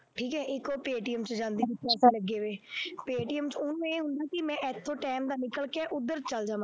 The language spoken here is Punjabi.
ਠੀਕ ਹੈ ਇੱਕ ਉਹ ਪੇਅਟੀਐਮ ਚ ਜਾਂਦੀ ਪੇਅਮਟੀਐਮ ਚ ਉਹਨੇ ਇੱਥੋਂ time ਨਾਲ ਨਿਕਲ ਕੇ ਉੱਧਰ ਚਲੇ ਜਾਵਾਂ